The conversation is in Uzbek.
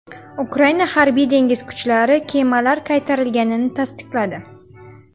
Ukraina harbiy-dengiz kuchlari kemalar qaytarilganini tasdiqladi.